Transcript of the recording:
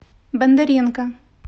бондаренко